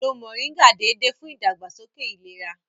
Lo Mọ̀ríngà déédéé fún ìdàgbàsókè ìlera